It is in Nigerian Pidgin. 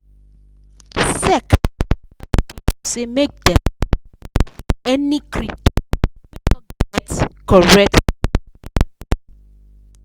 sec dey tell people say make dem no put money for any crypto wey no get correct registration